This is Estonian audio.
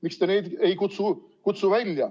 Miks te neid ei kutsu välja?